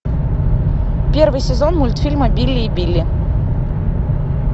первый сезон мультфильма билли и билли